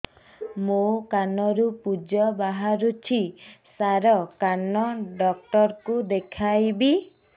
ମୋ କାନରୁ ପୁଜ ବାହାରୁଛି ସାର କାନ ଡକ୍ଟର କୁ ଦେଖାଇବି